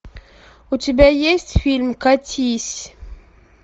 у тебя есть фильм катись